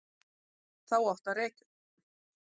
Þá átti að reka mig.